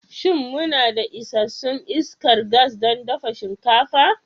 Shin muna da isassun iskar gas don dafa shinkafa?